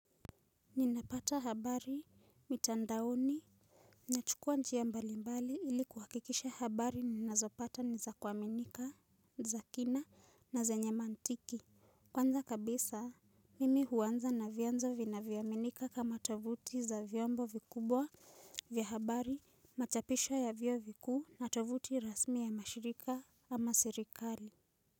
Ninapata habari mitandaoni nachukua njia mbalimbali ili kuhakikisha habari ninazopata ni za kuaminika, za kina na zenye maantiki. Kwanza kabisa, mimi huanza na vyanzo vinavyoaminika kama tovuti za vyombo vikubwa vya habari machapisho ya vio vikuu na tovuti rasmi ya mashirika ama serikali.